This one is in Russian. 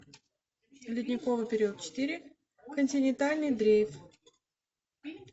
ледниковый период четыре континентальный дрейф